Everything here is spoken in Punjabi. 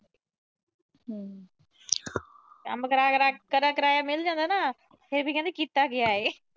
ਕੰਮ ਕਰੀਆ ਕਰਾਇਆ ਮਿਲ ਜਾਂਦਾ ਨਾ, ਫਿਰ ਵੀ ਕਹਿੰਦੀ ਕੀਤਾ ਕਿਆ ਏ।